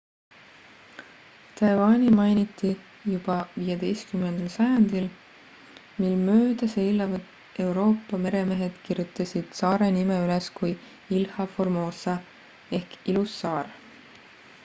taiwani mainiti juba 15 sajandil mil mööda seilavad euroopa meremehed kirjutasid saare nime üles kui ilha formosa ehk ilus saar